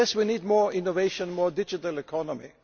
Yes, we need more innovation, more digital economy.